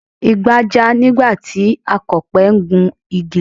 Igbà já nígbà tí Akọ̀pẹ ń gun igi lọ